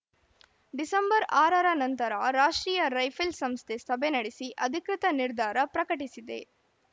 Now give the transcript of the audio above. December ಆರರ ನಂತರ ರಾಷ್ಟ್ರೀಯ ರೈಫಲ್‌ ಸಂಸ್ಥೆ ಸಭೆ ನಡೆಸಿ ಅಧಿಕೃತ ನಿರ್ಧಾರ ಪ್ರಕಟಿಸಿದೆ